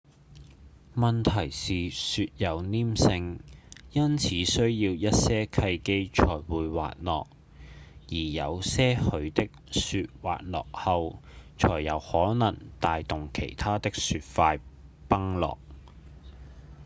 問題是雪有黏性因此需要一些契機才會滑落而有些許的雪滑落後才有可能帶動其他的雪塊崩落